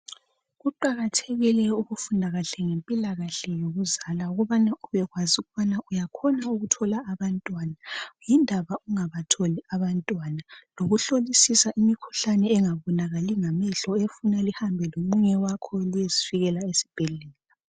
Kuqakathekile ukufunda kahle ngemikhuhlane yokuzala ukubana ubekwazi ukubana uyakhona ukuthola abantwana yindaba ungabatholi abantwana lokuhlolisisa imikhuhlane engabonakaliyo ngamehlo efuna lihambe lomunye wakho liyezifikela esibhedlela